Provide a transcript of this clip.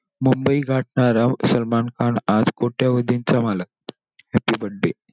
मुंबई गाठणारा सलमान खान आज कोट्यवधींचा मालक. Happy birthday.